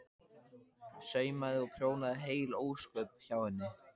Saumaði og prjónaði heil ósköp hjá henni.